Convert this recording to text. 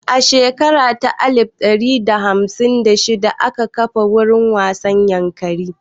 A shekara ta alif ɗari tara da hamsin da shida aka kafa wurin wasa Yankari